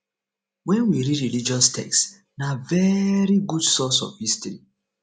when we read religious text na very good source of history